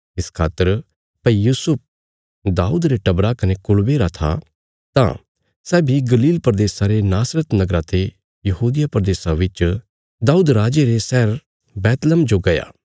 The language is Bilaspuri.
इस खातर भई यूसुफ दाऊद रे टबरा कने कुलबे रा था तां सै बी गलील प्रदेशा रे नासरत नगरा ते यहूदिया प्रदेशा बिच दाऊद राजे रे शहर बैतलहम जो गया